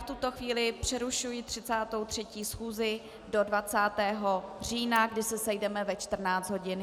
V tuto chvíli přerušuji 33. schůzi do 20. října, kdy se sejdeme ve 14 hodin.